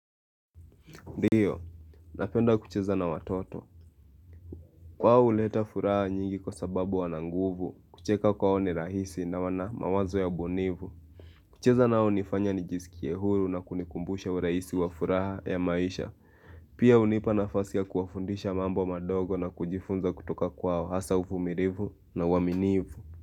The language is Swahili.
Ndiyo, napenda kucheza na watoto. Wao huleta furaha nyingi kwa sababu wana nguvu, kucheka kwao ni rahisi na wana mawazo ya ubunifu. Kucheza nao hunifanya nijisikie huru na kunikumbusha urahisi wa furaha ya maisha. Pia hunipa nafasi ya kuwafundisha mambo madogo na kujifunza kutoka kwao hasa uvumilivu na uaminifu.